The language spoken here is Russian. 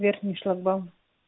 верхний шлагбаум